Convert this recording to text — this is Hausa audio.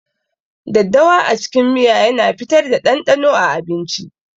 daddawa a cikin miya yana fitar da ɗanɗanon a abinci.